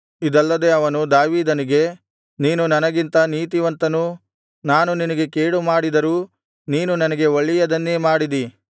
ಇದಲ್ಲದೆ ಅವನು ದಾವೀದನಿಗೆ ನೀನು ನನಗಿಂತ ನೀತಿವಂತನೂ ನಾನು ನಿನಗೆ ಕೇಡುಮಾಡಿದರೂ ನೀನು ನನಗೆ ಒಳ್ಳೆಯದನ್ನೇ ಮಾಡಿದಿ